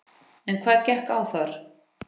En hvað gekk á þar?